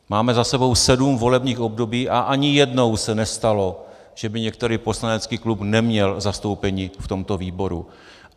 Máme za sebou sedm volebních období a ani jednou se nestalo, že by některý poslanecký klub neměl zastoupení v tomto výboru.